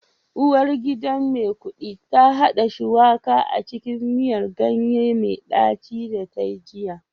Uwargidan Maikudi ta hada Shuwaka a cikin miyar ganye mai daci da ta yi jiya